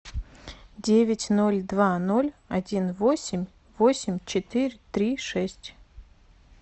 девять ноль два ноль один восемь восемь четыре три шесть